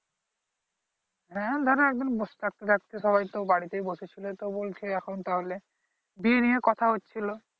হ্যা ধরো একদম সবাই তো বাড়িতেই বসে ছিলো তো বলছে এখন তাহলে বিয়ে নিয়ে কথা হচ্ছিলো